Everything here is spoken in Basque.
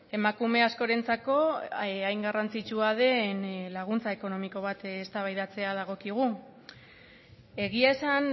emakume askorentzako hain garrantzitsua den laguntza ekonomiko bat eztabaidatzea dagokigu egia esan